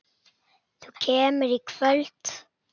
Þú kemur í kvöld!